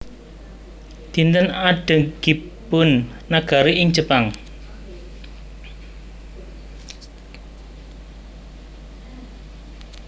Dinten Adegipun Negari ing Jepang